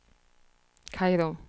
Kairo